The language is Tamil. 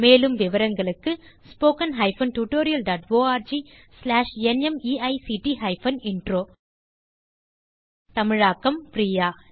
மேலும் விவரங்களுக்கு spoken hyphen tutorial dot org slash NMEICT hyphen intro தமிழாக்கம் பிரியா